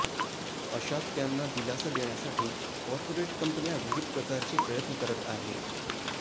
अशात त्यांना दिलासा देण्यासाठी कॉरपोरेट कंपन्या विविध प्रकारचे प्रयत्न करत आहेत